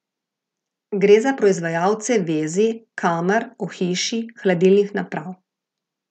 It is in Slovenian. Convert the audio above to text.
Gre za proizvajalce vezij, kamer, ohišij, hladilnih naprav ...